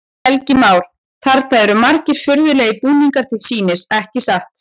Helgi Már: Þarna eru margir furðulegir búningar til sýnis, ekki satt?